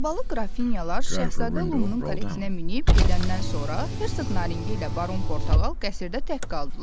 Albalı Qrafinyalar Şahzadə Lumunun karetinə minib gedəndən sonra Hersoq Naringi ilə Baron Portağal qəsrdə tək qaldılar.